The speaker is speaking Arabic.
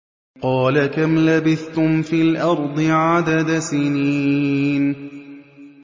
قَالَ كَمْ لَبِثْتُمْ فِي الْأَرْضِ عَدَدَ سِنِينَ